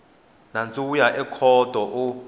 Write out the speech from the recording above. nandzu wu ya ekhoto u